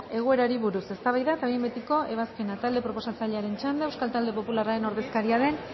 egoerari buruz eztabaida eta behin betiko ebazpena talde proposatzailearen txanda euskal talde popularren ordezkaria den